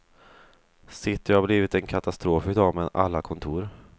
City har blivit en katastrof i dag med alla kontor.